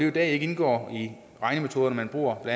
i dag ikke indgår i de regnemetoder man bruger i